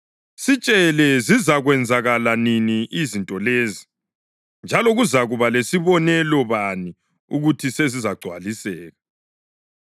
“Sitshele, zizakwenzakala nini izinto lezi? Njalo kuzakuba lesibonelo bani ukuthi sezizagcwaliseka?”